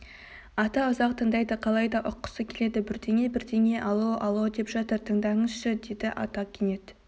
ата ұзақ тыңдайды қалай да ұққысы келеді бірдеңе-бірдеңе ало ало деп жатыр тыңдаңызшы деді ата кенет